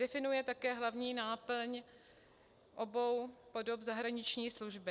Definuje také hlavní náplň obou podob zahraniční služby.